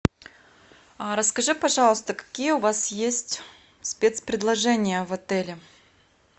расскажи пожалуйста какие у вас есть спецпредложения в отеле